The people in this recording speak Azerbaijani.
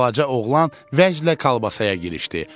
Balaca oğlan vəclə Kalabasağa girişdi.